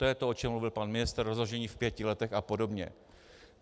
To je to, o čem mluvil pan ministr - rozložení v pěti letech a podobně.